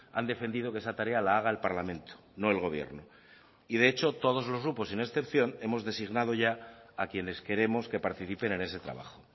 han defendido que esa tarea la haga el parlamento no el gobierno y de hecho todos los grupos sin excepción hemos designado ya a quienes queremos que participen en ese trabajo